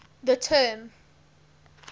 the term